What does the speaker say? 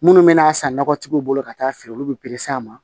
Minnu bɛna san nɔgɔtigiw bolo ka taa feere olu bɛ a ma